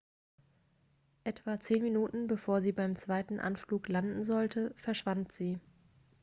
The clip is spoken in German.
etwa zehn minuten bevor sie beim zweiten anflug landen sollte verschwand sie